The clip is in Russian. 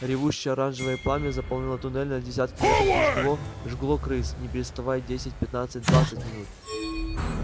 ревущее оранжевое пламя заполнило туннель на десятки метров и жгло жгло крыс не переставая десять пятнадцать двадцать минут